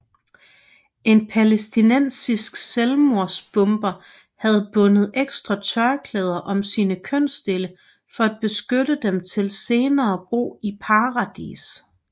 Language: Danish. En palæstinensisk selvmordsbomber havde bundet ekstra tørklæder om sine kønsdele for at beskytte dem til senere brug i paradis